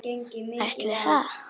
Ætli það?